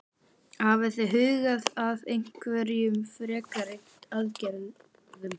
Hafið þið hugað að einhverjum frekari aðgerðum?